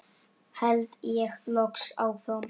held ég loks áfram.